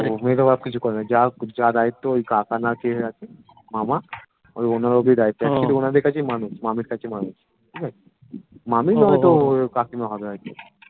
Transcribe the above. মেয়েটার বাপ কিছু করেনা যা যা দায়িত্ব ওই কাকা না কে আছে মামা ওই ওনার ওপরই দায়িত্বও actually ওনাদের কাছেই মানুষ মামীর কাছে মানুষ ঠিকাছে মামী না হয় ওই কাকিমা হবে হয়তো